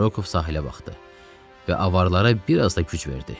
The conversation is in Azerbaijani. Rokov sahilə baxdı və avaralara bir az da güc verdi.